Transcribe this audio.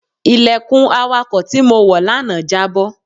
Ilẹ̀kùn awàkọ̀ tí mo wọ lánàá jábọ́.